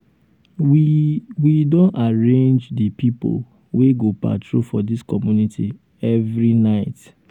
we we don arrange um di pipo wey go dey patrol for dis community every um night.